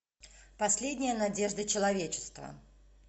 последняя надежда человечества